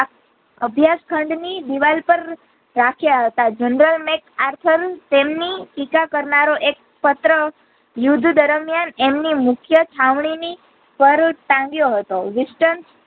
અભ્યાસ ખાંડ ની દીવાલ પર રાખ્યા હતા General મેં આર્થોન તેમની ટીકા એક પત્ર યુદ્ધ દરમિયાન એમની મુખ્ય છાવણીની પર ટાંગ્યો હતો વિસ્તન